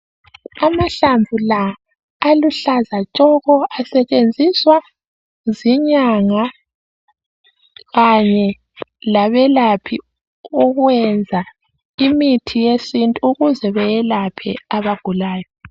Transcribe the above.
amahlamvu la aluhlaza tshoko asetshensiswa zinyanga kanye babelaphi ukwenza imithi yesintu ukuze beyelaphe aba gulayo